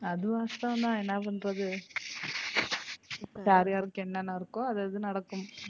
அது வாஸ்தவம் தான் என்ன பண்றது யார்யாருக்கு என்னன்ன இருக்கோ அது அது நடக்கும்.